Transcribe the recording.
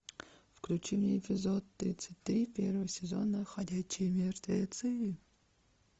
включи мне эпизод тридцать три первого сезона ходячие мертвецы